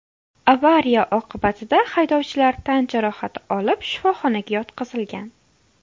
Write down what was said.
Avariya oqibatida haydovchilar tan jarohati olib, shifoxonaga yotqizilgan.